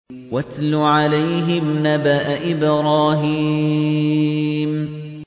وَاتْلُ عَلَيْهِمْ نَبَأَ إِبْرَاهِيمَ